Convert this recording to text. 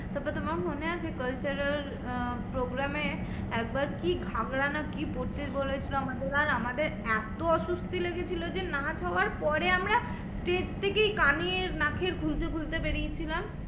তারপরে তোমার মনে আছে? cultural আহ program এ একবার কি ঘাগড়া না কি পড়তে বলেছিলো আমাদের? আর আমাদের এত অসুস্থি লেগেছিলো যে, নাচ হওয়ার পরে আমরা stage থেকেই কানের নাকের খুলতে খুলতে বেরিয়েছিলাম।